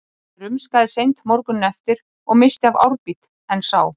Ég rumskaði seint morguninn eftir og missti af árbít, en sá